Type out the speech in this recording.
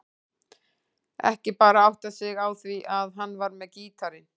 Ekki bara áttað sig á því að hann var með gítarinn.